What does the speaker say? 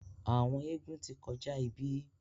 àwọn eégún tí kọjá ibí.